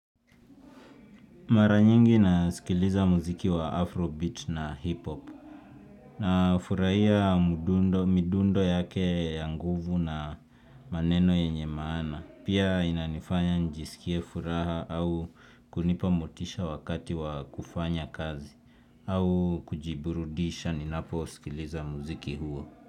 Mara nyingi na sikiliza mziki wa afro beat na hip hop. Na furahia midundo yake ya nguvu na maneno yenye maana. Pia inanifanya nijisikie furaha au kunipamotisha wakati wa kufanya kazi. Au kujiburudisha ninapo sikiliza muziki huo.